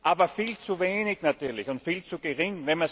Aber viel zu wenig natürlich und viel zu gering.